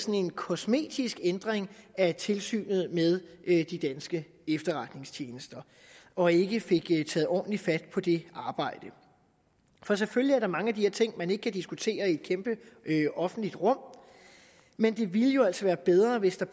en kosmetisk ændring af tilsynet med de danske efterretningstjenester og ikke fik taget ordentligt fat på det arbejde for selvfølgelig er der mange af de her ting man ikke kan diskutere i et kæmpe offentligt rum men det ville jo altså være bedre hvis der